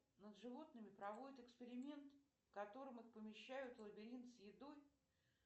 над животными проводят эксперимент в котором их помещают в лабиринт с едой